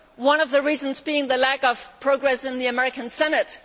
deal. One of the reasons is the lack of progress in the American Senate.